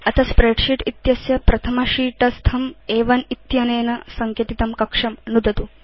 अथ स्प्रेडशीट् इत्यस्य प्रथम sheet स्थं अ1 इत्यनेन सङ्केतितं कक्षं नुदतु